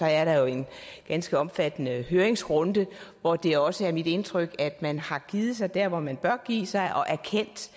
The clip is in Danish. er der jo en ganske omfattende høringsrunde hvor det også er mit indtryk at man har givet sig der hvor man bør give sig og erkendt